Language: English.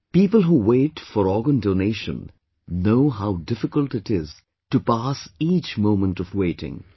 People who wait for organ donation know how difficult it is to pass each moment of waiting